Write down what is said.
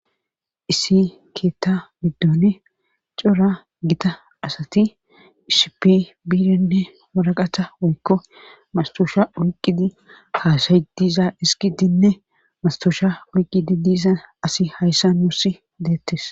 isi keetta biddone cora gita asati ishipi biirinne waraqata woykko mastoosha oyqqidi kaasay diza iski dinne mastoosha oyqqidi diisa asi hayssa nuusi deettes